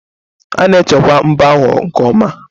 A na-echekwa mbọ ahụ nke ọma.